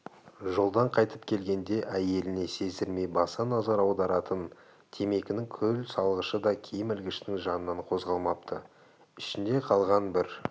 жолдан қайтып келгенде әйеліне сездірмей баса назар аударатын темекінің күл салғышы да киім ілгіштің жанынан қозғалмапты ішінде қалған бір